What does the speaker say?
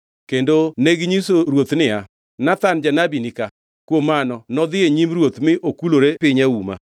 Kendo neginyiso ruoth niya, “Nathan janabi ni ka.” Kuom mano nodhi e nyim ruoth mi okulore piny auma.